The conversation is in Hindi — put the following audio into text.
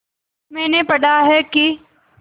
मैंने पढ़ा है कि